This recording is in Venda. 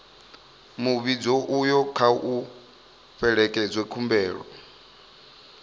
muvhigo uyo kha u fhelekedze khumbelo